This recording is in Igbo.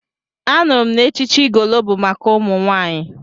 Anụrụ m na echichi Igolo bụ maka ụmụ nwaanyị.